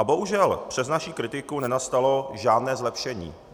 A bohužel přes naši kritiku nenastalo žádné zlepšení.